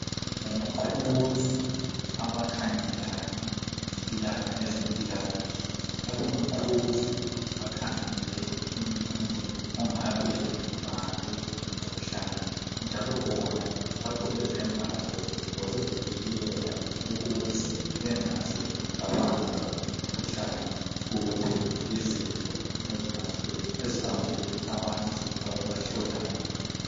Ngomaqhuzu abakhangelane lezempilakahle, labomaqhuzu bakhangele umuntu ongabe ebanjwe ngumkhuhlane. njalo bona bagqoke izembatho zokuzivikela, ukuze bengaze babanjwa yimikhuhlane. Kumbe yizifo ezibambe abantu ababahlolayo.